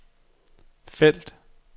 felt